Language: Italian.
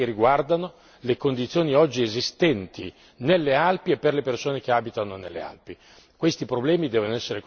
Ci sono problemi specifici che riguardano le condizioni oggi esistenti nelle Alpi e per le persone che abitano nelle Alpi.